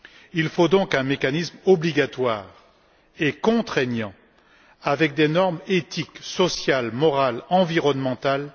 Il faut donc un mécanisme obligatoire et contraignant, avec des normes éthiques, sociales, morales et environnementales.